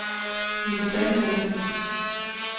Viggo Samuelsen